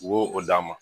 U b'o o d'a ma